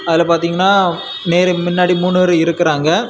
அதுல பாத்தீங்கன்னா மேல முன்னாடி மூணு பேரு இருக்குறாங்க.